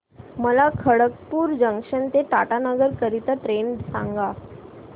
मला खडगपुर जंक्शन ते टाटानगर करीता ट्रेन सांगा